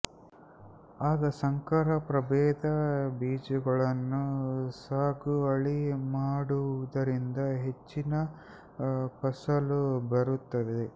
ಆಗ ಸಂಕರ ಪ್ರಭೇಧ ಬೀಜಗಳನ್ನು ಸಾಗುವಳಿ ಮಾಡುವುದರಿಂದ ಹೆಚ್ಚಿನ ಫಸಲು ಬರುತ್ತದೆ